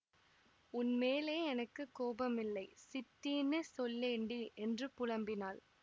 உன் மேலே எனக்கு கோபமில்லை சித்தின்னு சொல்லேண்டி என்று புலம்பினாள்